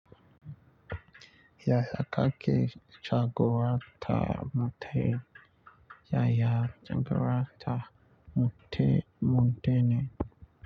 Yaya ya kaki jagora ta mutum, yaya jagora ta mutum mutane.